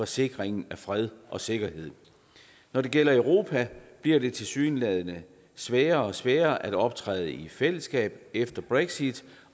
sikring af fred og sikkerhed når det gælder europa bliver det tilsyneladende sværere og sværere at optræde i fællesskab efter brexit